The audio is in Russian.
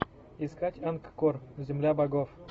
искать ангкор земля богов